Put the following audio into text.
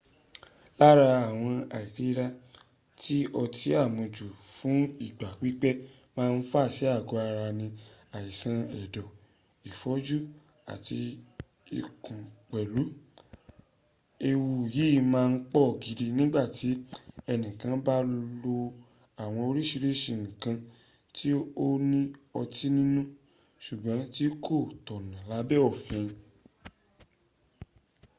lára àwọn àìlera tí ọtí àmujù fún ìgbà pípẹ́ máa ń fà sí àgọ́ ara ní àìsàn ẹ̀dọ̀ ìfọ́jú àti ikú pẹ̀lú. ewu yìí máa ń pọ̀ gidi nígbàtí ẹnì kan bá lo àwọn oríṣìíríṣìí nǹkan ti ó ní ọtí ninú ṣùgbọ́n tí kò tọ̀nà lábẹ́ òfi